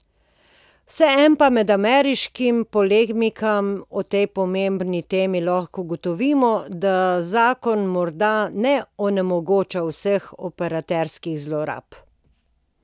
Vseeno pa med ameriškimi polemikami o tej pomembni temi lahko ugotovimo, da zakon morda ne onemogoča vseh operaterskih zlorab.